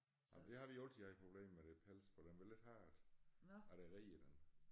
Jamen det har vi altid haft problem med det pels for den vil ikke have at at jeg reder den